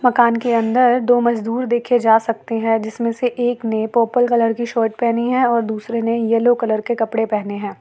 मकान के अंदर दो मजदूर देखे जा सकते हैं जिसमें से एक नए पर्पल कलर की शर्ट पहनी है और दूसरे ने येलो कलर के कपड़े पहने हैं।